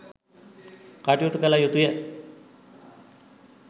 කටයුතු කළ යුතුය.